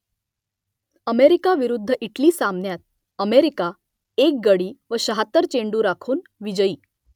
America विरुद्ध Italy सामन्यात America एक गडी व शाहत्तर चेंडू राखून विजयी